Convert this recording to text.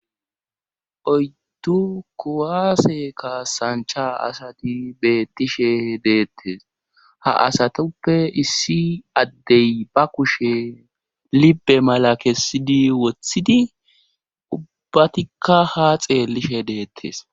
oydddu kuwaase ka sancha asati beettishe deettes ha asatoppe issi addey ba kushe libe mala kessidi woththidi ubbbatikka ha xeellishe deettes